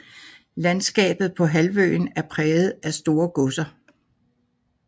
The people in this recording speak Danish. Landskabet på halvøen er præget af store godser